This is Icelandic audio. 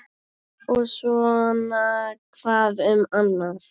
Og svona hvað um annað: